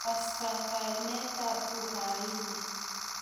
Kastakanetab Uhaini.